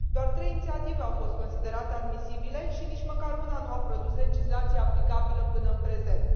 Doar trei inițiative au fost considerate admisibile și nici măcar una nu a produs legislație aplicabilă până în prezent.